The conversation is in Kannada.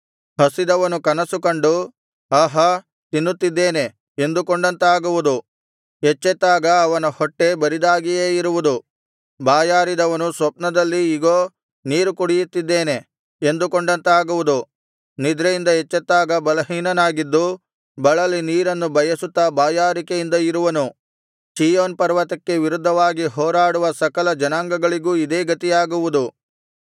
ಹಸಿದವನು ಕನಸು ಕಂಡು ಆಹಾ ತಿನ್ನುತ್ತಿದ್ದೇನೆ ಎಂದುಕೊಂಡಂತಾಗುವುದು ಎಚ್ಚೆತ್ತಾಗ ಅವನ ಹೊಟ್ಟೆ ಬರಿದಾಗಿಯೇ ಇರುವುದು ಬಾಯಾರಿದವನು ಸ್ವಪ್ನದಲ್ಲಿ ಇಗೋ ನೀರು ಕುಡಿಯುತ್ತಿದ್ದೇನೆ ಎಂದುಕೊಂಡಂತಾಗುವುದು ನಿದ್ರೆಯಿಂದ ಎಚ್ಚೆತ್ತಾಗ ಬಲಹೀನನಾಗಿದ್ದು ಬಳಲಿ ನೀರನ್ನು ಬಯಸುತ್ತಾ ಬಾಯಾರಿಕೆಯಿಂದ ಇರುವನು ಚೀಯೋನ್ ಪರ್ವತಕ್ಕೆ ವಿರುದ್ಧವಾಗಿ ಹೋರಾಡುವ ಸಕಲ ಜನಾಂಗಗಳಿಗೂ ಇದೇ ಗತಿಯಾಗುವುದು